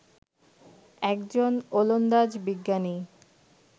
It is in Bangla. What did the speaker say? একজন ওলন্দাজ বিজ্ঞানী